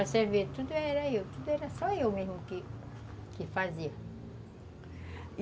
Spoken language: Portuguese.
Para você ver, tudo era eu, tudo era só eu mesmo que que fazia. E